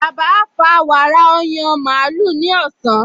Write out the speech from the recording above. Bàbá á fa wàrà ní ọyàn màlúù ní ọ̀sán